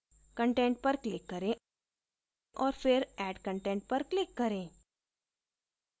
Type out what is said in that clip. content पर click करें और फिर add content पर click करें